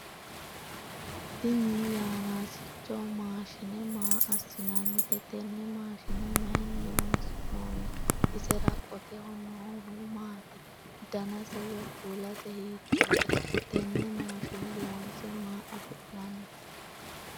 Tinni yannasicho maashinne maa asinnannite? tenne maashinne mayinni horoonsi'noonni? Isera qoteho noohu maati? Dannase woyi kuulase hiitoote? Tenne maashinne loonse maa afi'nanni?